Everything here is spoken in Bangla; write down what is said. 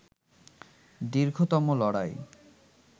দীর্ঘতম লড়াই